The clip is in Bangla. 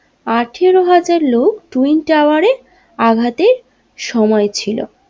আঠেরো হাজার লোক টুইন টাওয়ারে আঘাতের সময় ছিল।